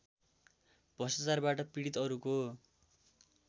भ्रष्टाचारबाट पीडित अरूको